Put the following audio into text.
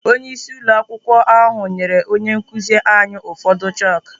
Onyeisi ụlọ akwụkwọ ahụ nyere onye nkụzi anyị ụfọdụ chakụ.